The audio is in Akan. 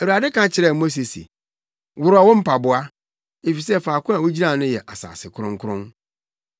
“Awurade ka kyerɛɛ Mose se, ‘Worɔw wo mpaboa, efisɛ faako a wugyina no yɛ asase kronkron.